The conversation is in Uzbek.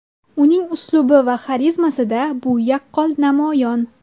Uning uslubi va xarizmasida bu yaqqol namoyon.